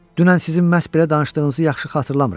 Dünən sizin məhz belə danışdığınızı yaxşı xatırlamıram.